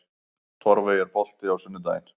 Torfey, er bolti á sunnudaginn?